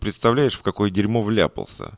представляешь в какое дерьмо вляпался